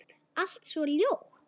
Allt svo ljótt.